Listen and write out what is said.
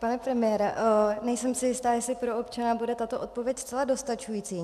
Pane premiére, nejsem si jista, jestli pro občana bude tato odpověď zcela dostačující.